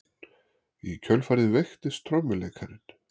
Í kjölfarið veiktist trommuleikarinn